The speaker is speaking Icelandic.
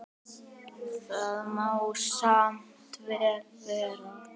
Það má samt vel vera.